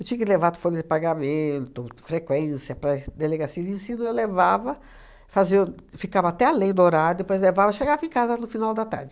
Eu tinha que levar folha de pagamento, frequência para as delegacia de ensino, eu levava, fazia o ficava até além do horário, depois levava, chegava em casa no final da tarde.